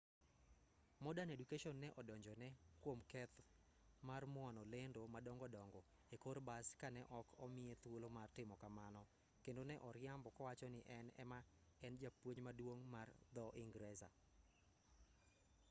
modern education ne odonjone kwom keth mar muono lendo madongo dongo e kor bas ka ne ok omiye thuolo mar timo kamano kendo ne oriambo kowacho ni en ema ne en japuonj maduong' mar dho-ingresa